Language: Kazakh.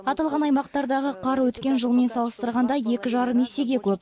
аталған аймақтардағы қар өткен жылмен салыстырғанда екі жарым есеге көп